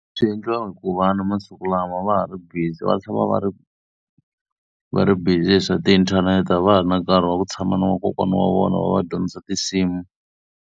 Swi endliwa hi ku va vana masiku lama va ha ri busy, va tshama va va ri va ri busy hi swa tiinthanete. A va ha ri na nkarhi wa ku tshama na vakokwana wa vona va va dyondza tinsimu.